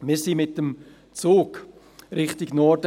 Wir fuhren mit dem Zug Richtung Norden.